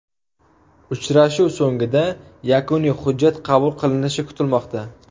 Uchrashuv so‘ngida yakuniy hujjat qabul qilinishi kutilmoqda.